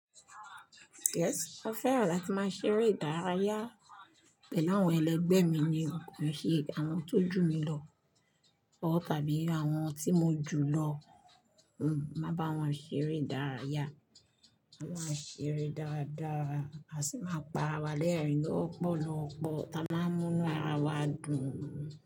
Yes, mo fẹ́ràn láti máa ṣeré ìdárayá pẹ̀lú àwọn ẹlẹgbẹ́ mi ni kò ń ṣe àwọn tó jù mi lọ tàbí àwọn tí mo jù lọ. Hmmm, máa bá wọn ṣeré ìdárayá, bá wọn ṣeré dáadáa, a sì máa pa rawa léẹ̀rìn lọ́pọ̀lọpọ̀, tí á máa mú inú ara wa dùn.